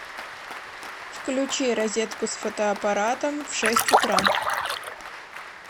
включи розетку с фотоаппаратом в шесть утра